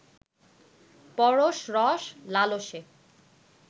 পরশ-রস-লালসে